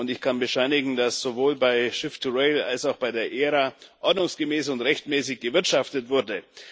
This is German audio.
Ich kann bescheinigen, dass sowohl bei Shift2Rail als auch bei der ERA ordnungsgemäß und rechtmäßig gewirtschaftet wurde.